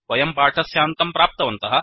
वयं पाठस्यान्तं प्राप्तवन्तः